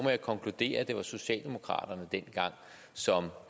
konkludere at det var socialdemokraterne som